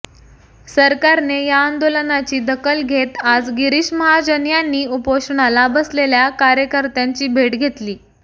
सरकारने या आंदोलनाची दखल घेत आज गिरीश महाजन यांनी उपोषणाला बसलेल्या कार्यकर्त्यांची भेट घेतली